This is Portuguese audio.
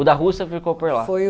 O da Rússia ficou por lá.